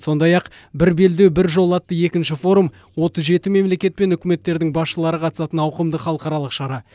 сондай ақ бір белдеу бір жол атты екінші форум отыз жеті мемлекет пен үкіметтердің басшылары қатысатын ауқымды халықаралық шара